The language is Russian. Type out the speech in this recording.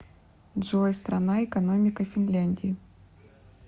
джой страна экономика финляндии